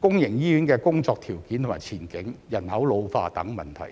公營醫院的工作條件及前景、人口老化等問題。